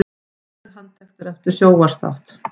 Fjórir handteknir eftir sjónvarpsþátt